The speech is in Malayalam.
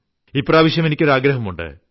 ഇപ്രാവശ്യം എനിയ്ക്കൊരാഗ്രഹം ഉണ്ട്